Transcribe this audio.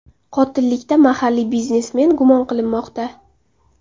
Qotillikda mahalliy biznesmen gumon qilinmoqda.